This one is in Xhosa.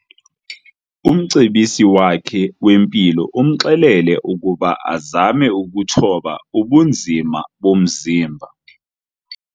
Umcebisi wakhe wempilo umxelele ukuba azame ukuthoba ubunzima bomzimba.